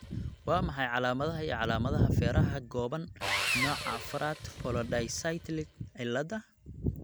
Waa maxay calaamadaha iyo calaamadaha feeraha gaaban nooca afraad polydactyly cilada?